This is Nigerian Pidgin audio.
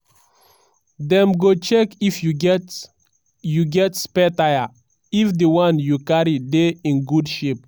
dem go check if you get you get spare tyre and if di one you carry dey in good shape.